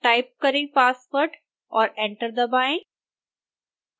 type करें password और enter दबाएं